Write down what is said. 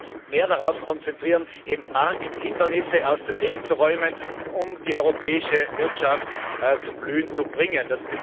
Wir sollten uns mehr darauf konzentrieren, Markthindernisse aus dem Weg zu räumen, um die europäische Wirtschaft zum Blühen zu bringen.